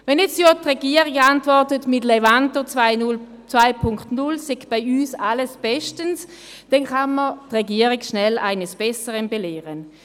Wenn jetzt die Regierung antwortet, dass mit Levanto 2.0 bei uns alles bestens sei, dann kann man die Regierung schnell eines Besseren belehren.